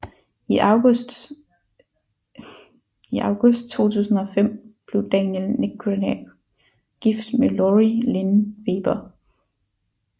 I august 2005 blev Daniel Negreanu gift med Lori Lin Weber